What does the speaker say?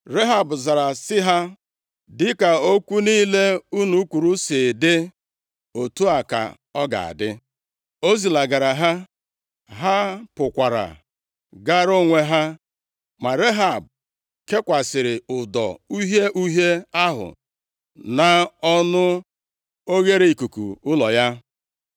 Rehab zara sị ha, “Dịka okwu niile unu kwuru si dị, otu a ka ọ ga-adị.” O zilagara ha. Ha pụkwara gaara onwe ha. Ma Rehab kekwasịrị ụdọ uhie uhie ahụ nʼọnụ oghereikuku ụlọ ya.